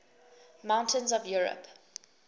mountains of europe